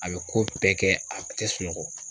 A bɛ ko bɛɛ kɛ a kun tɛ sunɔgɔ.